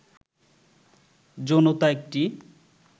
যৌনতা একটি